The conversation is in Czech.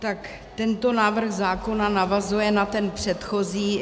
Tak tento návrh zákona navazuje na ten předchozí.